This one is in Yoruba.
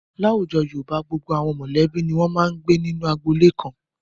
Láwùjọ Yorùbá, gbogbo àwọn mọ̀lẹ́bí ni wọ́n máa ń gbé nínú agboolé kan.